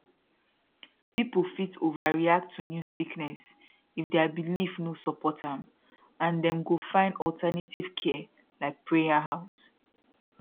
people fit overreact to new sickness if their belief no support am and dem go find alternative care like prayer house